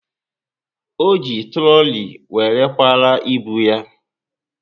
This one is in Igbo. O ji trooli were kwara ibu ya